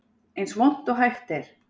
Eins vont og hægt er